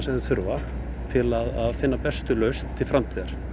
til að finna bestu lausn til framtíðar